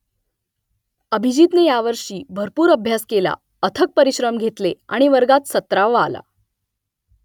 अभिजीतने यावर्षी भरपूर अभ्यास केला अथक परिश्रम घेतले आणि वर्गात सतरावा आला